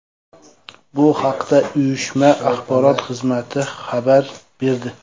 Bu haqda uyushma axborot xizmati xabar berdi .